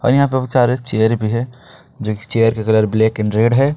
और यहां पे बहुत सारे चेयर भी हैं जो कि चेयर का कलर ब्लैक एंड रेड है।